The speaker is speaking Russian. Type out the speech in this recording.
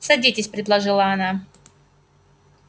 садитесь предложила она